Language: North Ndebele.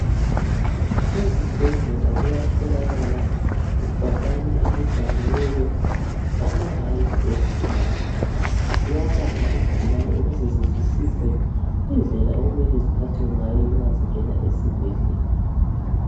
Ezibhedlela kuyatholakala ibhakani elibhaliweyo ama rayitsi ezigulani. Ziyabala izigulane ukuze zizwisise indlela okumele ziphathwe ngayo nxa zingena esibhedlela.